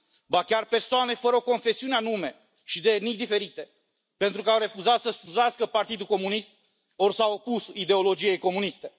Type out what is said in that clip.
ba chiar persoane fără o confesiune anume și de etnii diferite, pentru că au refuzat să slujească Partidul Comunist ori s au opus ideologiei comuniste.